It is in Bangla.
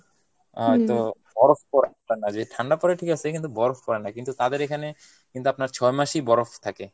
আহ তো বরফ পরে না, যে ঠান্ডা পরে ঠিকাছে কিন্তু বরফ পরে না, কিন্তু তাদের এইখানে আপনার ছয় মাসই বরফ থাকে।